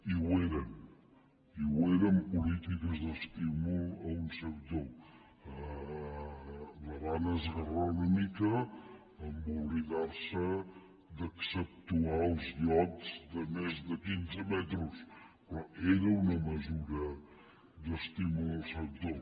i ho eren i ho eren polítiques d’estímul a un sector la van esgarrar una mica en oblidar se d’exceptuar els iots de més de quinze metres però era una mesura d’estímul al sector